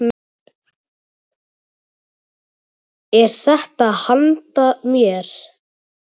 Er þetta handa mér?!